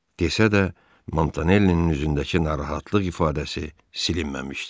desə də Montanellinin üzündəki narahatlıq ifadəsi silinməmişdi.